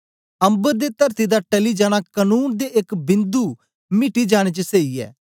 अम्बर ते तरती दा टली जाना कनून दे एक बिन्दु मिटी जाने च सेई ऐ